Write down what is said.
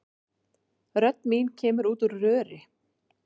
Rödd mín kemur út úr röri.